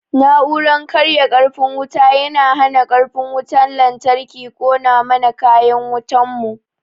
Na'uran karya karfin wuta yana hana karfin wutan lantarki kona mana kayan wutan mu